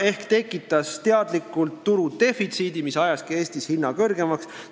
Ettevõte tekitas teadlikult turudefitsiidi, mis ajaski Eestis hinna väga kõrgeks.